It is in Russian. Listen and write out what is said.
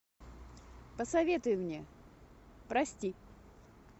посоветуй мне прости